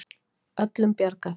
Öllum bjargað upp